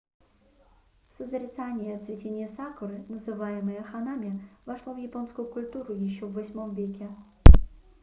созерцание цветения сакуры называемое ханами вошло в японскую культуру еще в viii веке